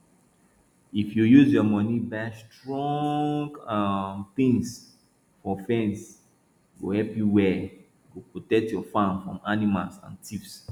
if you use your money buy strong um things for fence e go help you well e go protect your farm from animals and thieves